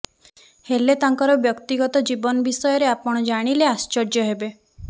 ହେଲେ ତାଙ୍କର ବ୍ୟକ୍ତିଗତ ଜୀବନ ବିଷୟରେ ଆପଣ ଜାଣିଲେ ଆଶ୍ଚର୍ଯ୍ୟ ହେବେ